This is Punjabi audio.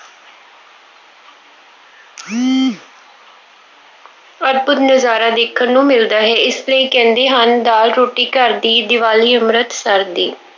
ਅਦਭੁੱਤ ਨਜ਼ਾਰਾ ਦੇਖਣ ਨੂੰ ਮਿਲਦਾ ਹੈ। ਇਸ ਲਈ ਕਹਿੰਦੇ ਹਨ, ਦਾਲ ਰੋਟੀ ਘਰ ਦੀ, ਦੀਵਾਲੀ ਅੰਮ੍ਰਿਤਸਰ ਦੀ।